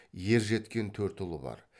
ержеткен төрт ұлы бар